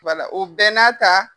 Wala o bɛɛ n'a ta.